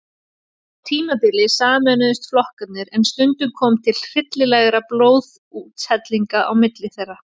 Á tímabili sameinuðust flokkarnir en stundum kom til hryllilegra blóðsúthellinga á milli þeirra.